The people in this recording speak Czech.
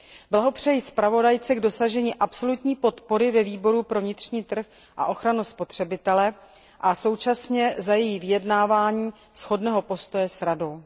Blahopřeji zpravodajce k dosažení absolutní podpory ve Výboru pro vnitřní trh a ochranu spotřebitelů a současně jí děkuji za její vyjednání shodného postoje s Radou.